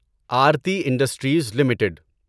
Aarti industries limited